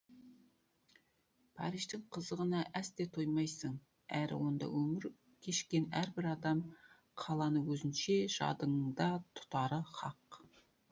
париждің қызығына әсте тоймайсың әрі онда өмір кешкен әрбір адам қаланы өзінше жадыңда тұтары хақ